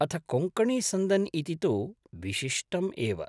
अथ कोङ्कणीसन्दन् इति तु विशिष्टम् एव।